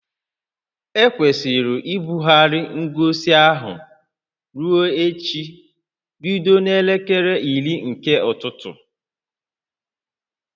Ekwesịrị ibugharị ngosi ahụ ruo echi bido n'elekere iri nke ụtụtụ